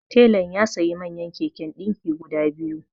Telan ya sayi manyan keken ɗinki guda biyu